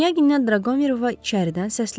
Qniyadən Draqoverova içəridən səsləndi.